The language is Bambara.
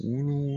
Wulu